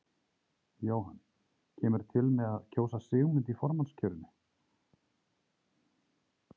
Jóhann: Kemurðu til með að kjósa Sigmund í formannskjörinu?